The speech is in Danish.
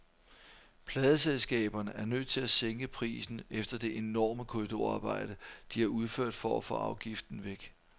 Pladeselskaberne er nødt til at sænke prisen efter det enorme korridorarbejde, de har udført for at få afgiften væk.